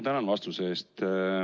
Tänan vastuse eest!